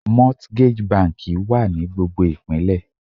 Mortgage banki wà ní gbogbo Ìpínlẹ̀.